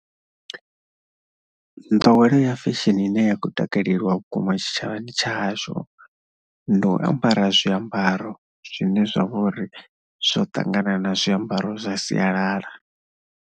Nḓowelo ya fesheni ine ya khou takaleliwa vhukuma tshitshavhani tsha hashu ndi u ambara zwiambaro zwine zwa vha uri zwo ṱangana na zwiambaro zwa sialala.